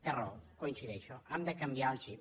té raó hi coincideixo hem de canviar el xip